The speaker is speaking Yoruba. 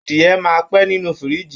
Adìyẹ máa pẹ́ ninu fírìjì.